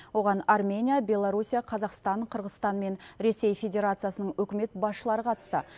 оған армения беларусия қазақстан қырғызстан мен ресей федерациясының үкімет басшылары қатысты